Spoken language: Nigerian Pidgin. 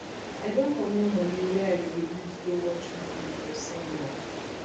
i don comot moni wey i go use go watch movie for cinema